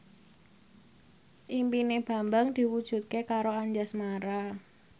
impine Bambang diwujudke karo Anjasmara